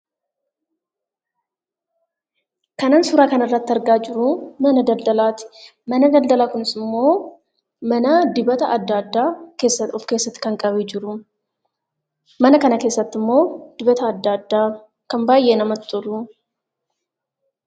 Kan an suuraa kanarratti argaa jiru mana daldalaa ti. Mana daldalaa kunis immoo mana dibata adda addaa of keessatti kan qabee jiruum. Mana kana keessatti immoo dibata adda addaa kan baay'ee namatti toluu....